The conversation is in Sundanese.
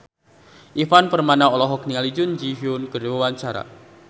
Ivan Permana olohok ningali Jun Ji Hyun keur diwawancara